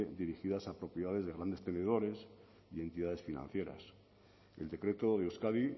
dirigidas a propiedades de grandes tenedores y entidades financieras el decreto de euskadi